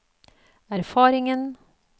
erfaringen